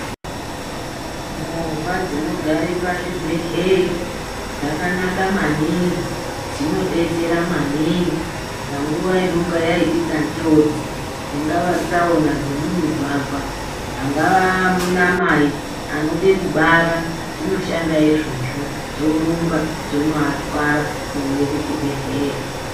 Movha dzinogare pazvibhedhleya dzakanaka maningi dzinobetsera maningi panguva inonga yaitika njodzi. Dzingava tsaona dzemumigwagwa angava anamai anode kubara dzinoshanda izvozvo, dzorumba dzonoatwara kuuye kuchibhedhleya.